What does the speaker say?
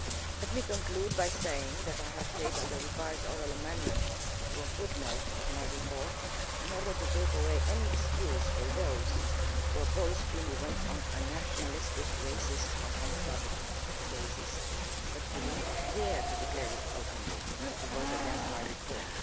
Let me conclude by saying that I shall move a revised oral amendment to a footnote in my report in order to take away any excuse for those who oppose free movement on a nationalistic, racist or xenophobic basis, but who do not dare to declare it openly, to vote against my report.